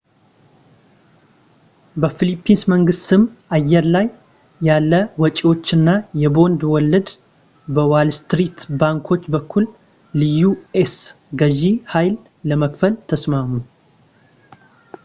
በፊሊፒንስ መንግሥት ስም አየር ላይ ያለ ወጪዎች እና የቦንድ ወለድ በዋልስትሪት ባንኮች በኩል ለዩ.ኤስ ገዢ ሃይል ለመክፈል ተስማሙ